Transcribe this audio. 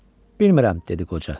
Bilmirəm, dedi qoca.